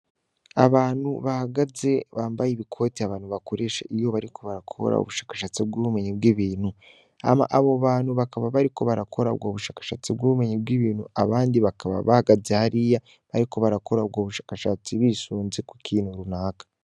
Abantu bahagaze bambaye ibikoti abantu bakoresha iyo bariko barakora ubushakashatsi bw'ubumenyi bw'ibintu, ama abo bantu bariko barakora ubwo bushakashatsi bw'ubumenyi bw'ibintu, abandi bakaba bahagaze hariya bariko barakora ubwo bushakashatsi bisunze ku kintu runaka.